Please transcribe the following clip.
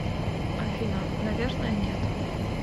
афина наверное нет